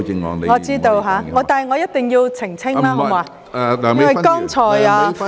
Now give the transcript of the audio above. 我知道，但我一定要澄清，因為剛才......